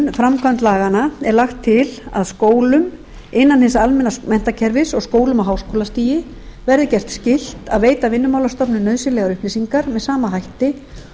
vinnumálastofnun framkvæmd laganna er lagt til að skólum innan hins almenna menntakerfis og skólum á háskólastigi verði gert skylt að veita vinnumálastofnun nauðsynlegar upplýsingar með sama hætti